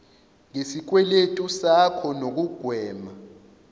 ngesikweletu sakho nokugwema